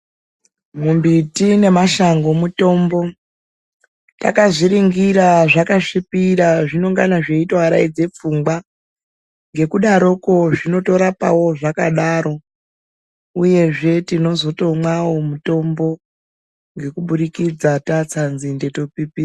Mimbiti nemashango mitombo takazviringira zvvakasvipira zvinongana zveitovaradza pfungwa ngekudaroko zvinotorapawo zvakadaro uyezve tinozotomwawo mitombo ngekuburikidza tatsa nzinde topipidza.